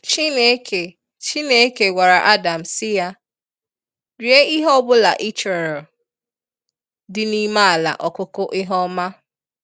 Chineke Chineke gwara Adam sị ya, rie ihe ọbụla ị chọrọ dị n'ime ala ọkụkụ ihe ọma.